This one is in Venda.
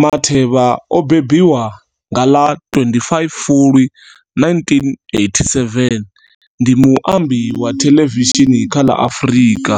Matheba o mbembiwa nga ḽa 25 Fulwi 1987, ndi muambi wa thelevishini kha ḽa Afrika.